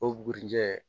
O bugurijɛ